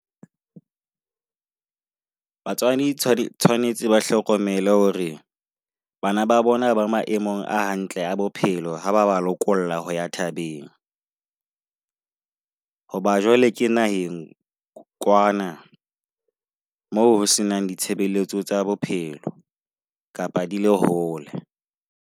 Batswadi tshwanetse ba hlokomele hore bana ba bona ba maemong a hantle a bophelo, ha ba ba lokolla ho ya thabeng. Hoba jwale ke naheng kwana moo ho se nang ditshebeletso tsa bophelo kapa di le hole.